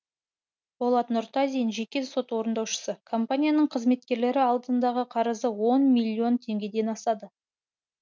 болат нұртазин жеке сот орындаушы компанияның қызметкерлері алдындағы қарызы он миллион теңгеден асады